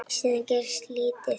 Síðan gerist lítið.